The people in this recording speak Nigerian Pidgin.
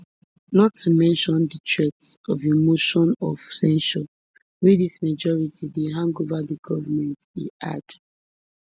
not to mention di threat of a motion of censure wey dis majority dey hang over di goment e add